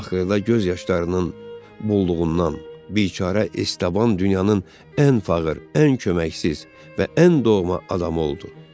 Axırda göz yaşlarının bulduğundan biçarə estəban dünyanın ən fağır, ən köməksiz və ən doğma adamı oldu.